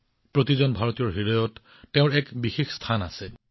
প্ৰতিজন ভাৰতীয়ৰ হৃদয়ত তেওঁৰ এক বিশেষ স্থান আছে